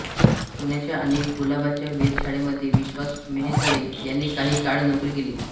पुण्याच्या आणि कुलाब्याच्या वेधशाळेमध्ये विश्वास मेहेंदळे यांनी काही काळ नोकरी केली